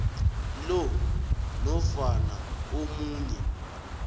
lo nofana omunye